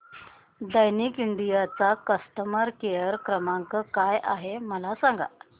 Daikin India चा customer care क्रमांक काय आहे मला सांगा